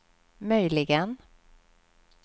möjligen